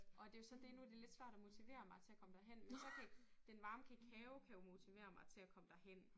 Og det jo så det nu det lidt svært at motivere mig til at komme derhen men så kan den varme kakao kan jo motivere mig til at komme derhen